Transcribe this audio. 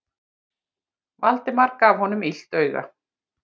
Valdimar gaf honum illt auga.